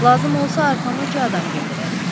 Lazım olsa arxanızca adam göndərərik.